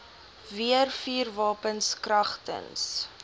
weer vuurwapens kragtens